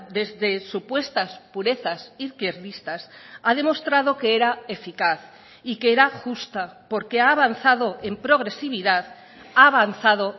desde supuestas purezas izquierdistas ha demostrado que era eficaz y que era justa porque ha avanzado en progresividad ha avanzado